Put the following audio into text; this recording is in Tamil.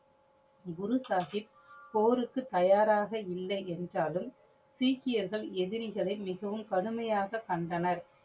குரு சாஹிப் போருக்கு தயாராக இல்லை என்றாலும் சீக்கியர்கள் எதிரிகளை மிகவும் கடுமையாக கண்டனர்.